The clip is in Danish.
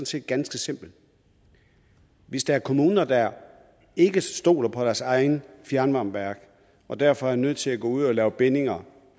set ganske simpelt hvis der er kommuner der ikke stoler på deres eget fjernvarmeværk og derfor er nødt til at gå ud og lave bindinger